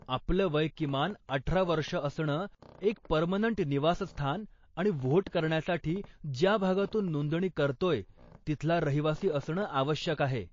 आपलं वय किमान अठरा वर्ष असणं, एक पर्मनंट निवासस्थान, आणि व्होट करण्यासाठी ज्या भागातून नोंदणी करतोय तिथला रहिवासी असणं आवश्यक आहे.